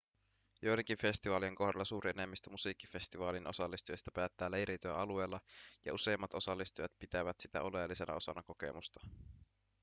joidenkin festivaalien kohdalla suuri enemmistö musiikkifestivaalin osallistujista päättää leiriytyä alueella ja useimmat osallistujat pitävät sitä oleellisena osana kokemusta